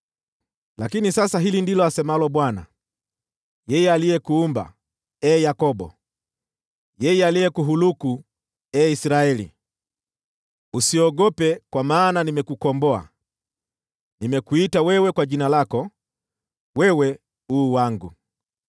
Lakini sasa hili ndilo asemalo Bwana , yeye aliyekuumba, ee Yakobo, yeye aliyekuhuluku, ee Israeli: “Usiogope kwa maana nimekukomboa, nimekuita wewe kwa jina lako, wewe u wangu.